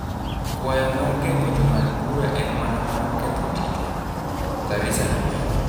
Kwayo mar gengo jongad bura en mano mar ketho tijwa." Karisa nomedo.